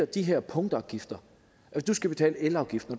de her punktafgifter når der skal betales elafgift og